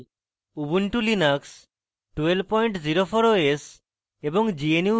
ubuntu linux 1204 os এবং